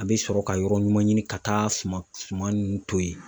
An bi sɔrɔ ka yɔrɔ ɲuman ɲini ka taa suma suma nunnu ton yen.